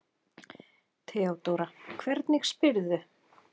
THEODÓRA: Hvernig spyrðu?